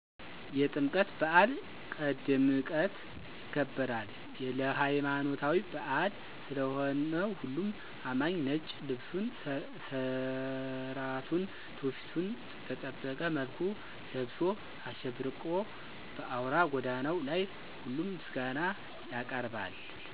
የጥምቀት በአል ቀድምቀት ይከበራል። የለይማኖታዊበአል ስለሆነሁሉም አማኚ ነጭ ልብሱን ስራቱና ትውፊቱን በጠበቀ መልኩ ለብሶ አሸብርቆ በአውራ ጎዳናው ላይ ሁሉም ምስጋና ያቀርባል።